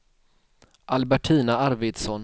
Albertina Arvidsson